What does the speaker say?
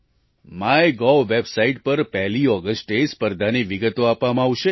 MyGov website પર પહેલી ઑગસ્ટે સ્પર્ધાની વિગતો આપવામાં આવશે